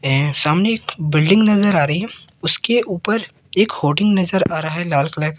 ए सामने एक बिल्डिंग नज़र आ रही है उसके ऊपर एक होटल नज़र आ रहा है लाल कलर --